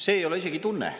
See ei ole isegi tunne.